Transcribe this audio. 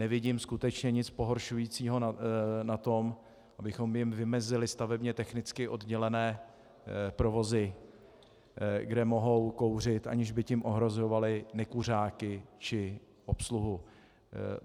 Nevidím skutečně nic pohoršujícího na tom, abychom jim vymezili stavebně technicky oddělené provozy, kde mohou kouřit, aniž by tím ohrožovali nekuřáky či obsluhu.